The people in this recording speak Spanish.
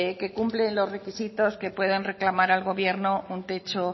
que cumplen los requisitos que pueden reclamar al gobierno un techo